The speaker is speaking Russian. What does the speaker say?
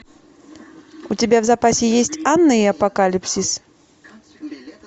у тебя в запасе есть анна и апокалипсис